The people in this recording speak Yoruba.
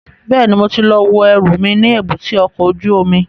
Bẹ́ẹ̀ni, mo ti lọ wo ẹrù mi ní èbúté ọkọ̀ ojú omi